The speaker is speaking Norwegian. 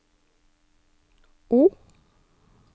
O